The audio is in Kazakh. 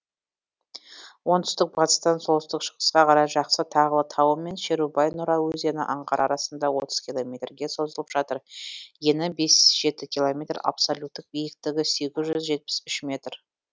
оңтүстік батыстан солтүстік шығысқа қарай жақсы тағылы тауы мен шерубай нұра өзені аңғары арасында отыз километрге созылып жатыр ені бес жеті километр абсолюттік биіктігі сегіз жүз жетпіс үш сегіз метр